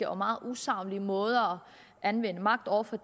og meget usaglige måder at anvende magt over for